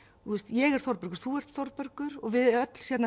ég er Þórbergur og þú ert Þórbergur við öll